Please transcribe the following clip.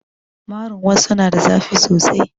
Marin wassu na da zafi sosai